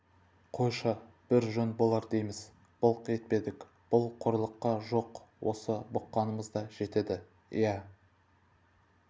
қойшы бір жөн болар дейміз былқ етпедік бұл қорлыққа жоқ осы бұққанымыз да жетеді иә